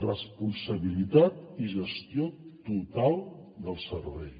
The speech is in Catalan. responsabilitat i gestió total del servei